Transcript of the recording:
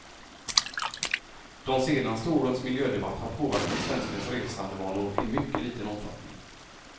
De senaste årens miljödebatt har påverkat svenskens resandevanor i mycket liten omfattning.